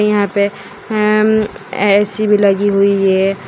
यहां पे अम्म ए_सी भी लगी हुई है।